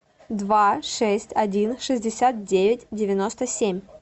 два шесть один шестьдесят девять девяносто семь